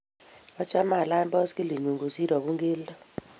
achame alany boskilii nyu kosir abun kelto.